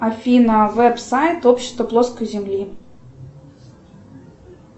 афина веб сайт общества плоской земли